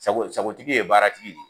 Sago , sagotigi ye baaratigi de ye.